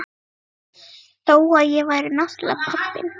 Þó að ég væri náttúrlega pabbinn.